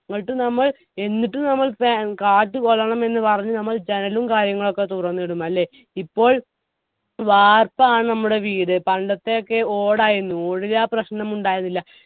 എന്നിട്ടു നമ്മൾ എന്നിട്ടും നമ്മൾ fan കാറ്റു കൊള്ളണം എന്ന് പറഞ്ഞ് നമ്മൾ ജനലും കാര്യങ്ങളൊക്കെ തുറന്നിടും അല്ലെ ഇപ്പോൾ വാർപ്പാണ് നമ്മുടെ വീട് പണ്ടത്തെയൊക്കെ ഓടായിരുന്നു ഓടിനാ പ്രശ്നം ഉണ്ടായിരുന്നില്ല